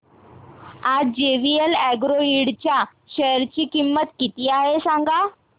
आज JVL agro Ind च्या share ची किंमत किती आहे सांगा